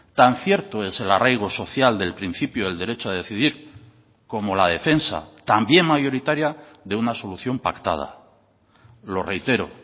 tan cierto es el arraigo social del principio del derecho a decidir como la defensa también mayoritaria de una solución pactada lo reitero